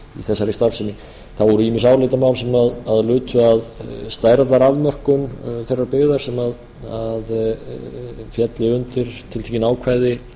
þessari starfsemi það voru ýmis álitamál sem lutu að stærðarafmörkun þeirrar byggðar sem félli undir tiltekin ákvæði